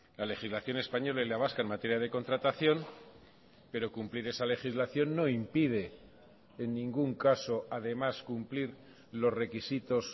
la legislación española y la vasca en materia de contratación pero cumplir esa legislación no impide en ningún caso además cumplir los requisitos